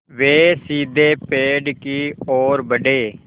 वे सीधे पेड़ की ओर बढ़े